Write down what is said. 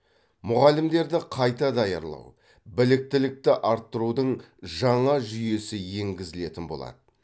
мұғалімдерді қайта даярлау біліктілікті арттырудың жаңа жүйесі енгізілетін болады